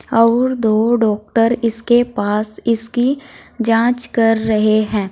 और दो डॉक्टर इसके पास इसकी जांच कर रहे हैं।